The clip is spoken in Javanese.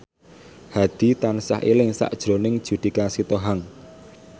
Hadi tansah eling sakjroning Judika Sitohang